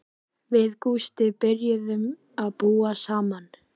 Við Gústi byrjuðum að búa saman.